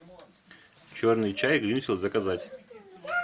черный чай гринфилд заказать